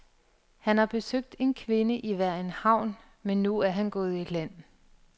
Han har besøgt en kvinde i hver en havn, men nu er han gået i land.